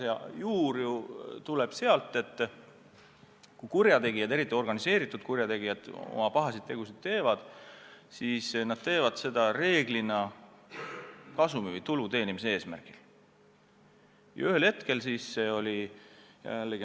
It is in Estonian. Vaadake, asja tuum on ju selles, et kui kurjategijad, eriti organiseerunud kurjategijad, oma pahasid tegusid teevad, siis nad teevad seda reeglina tulu teenimise eesmärgil.